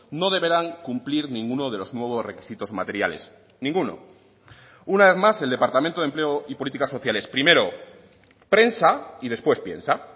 no deberán cumplir ninguno de los nuevos requisitos materiales ninguno una vez más el departamento de empleo y políticas sociales primero prensa y después piensa